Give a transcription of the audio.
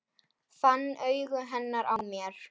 Fann augu hennar á mér.